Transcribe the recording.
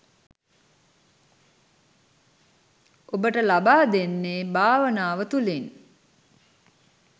ඔබට ලබා දෙන්නේ භාවනාව තුළින්.